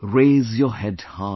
Raise your head high